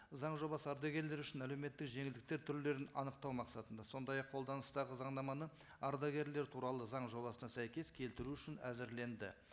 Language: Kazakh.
заң жобасы ардагерлер үшін әлеуметтік жеңілдіктер түрлерін анықтау мақсатында сондай ақ қолданыстағы заңнаманы ардагерлер туралы заң жобасына сәйкес келтіру үшін әзірленді